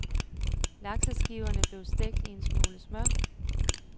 Lakseskiverne blev stegt i en smule smør.